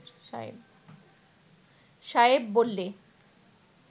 সায়েব বললে